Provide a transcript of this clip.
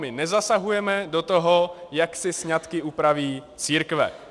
My nezasahujeme do toho, jak si sňatky upraví církve.